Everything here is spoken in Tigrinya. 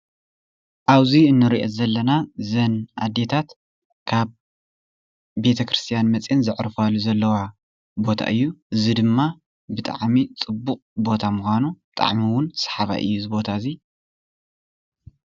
ኣብዚ እንሪኦ ዘለና እዘን ኣዴታት ካብ ቤተ ክርስትያን መፅአን ዘዕርፋሉ ዘለዋ ቦታ እዩ። እዚ ድማ ብጣዕሚ ፅቡቅ ቦታ ምኳኑ ብጣዕሚ እውን ሰሓባይ እዩ እዚ ቦታ እዚ፡፡